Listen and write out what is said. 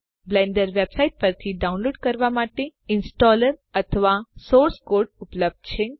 Blender website પરથી download કરવાં માટે ઈંસ્ટોલર સંસ્થાપક અથવા સોર્સ કોડ સ્ત્રોત કોડ ઉપલબ્ધ છે